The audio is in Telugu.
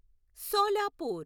సోలాపూర్